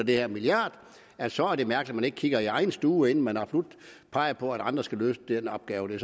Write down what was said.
her milliard så er det mærkeligt ikke kigger i egen stue inden man peger på at andre absolut skal løse den opgave